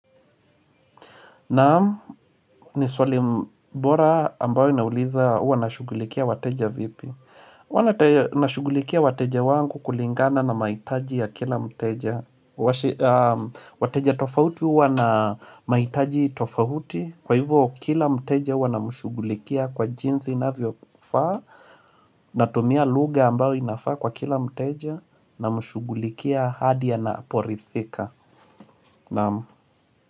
Naamu ni sole mbora ambao inauliza uwa na shugulikia wateja vipi Uwa na shugulikia wateja wangu kulingana na maitaji ya kila mteja wateja tofauti uwa na maitaji tofauti Kwa hivyo kila mteja uwa na mshugulikia kwa jinsi na viofa. Natumia lugha ambao inafaa kwa kila mteja na mshugulikia hadia anaporithika aam.